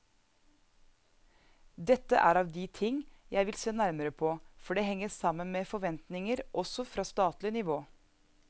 Dette er av de ting jeg vil se nærmere på, for det henger sammen med forventninger også fra statlig nivå.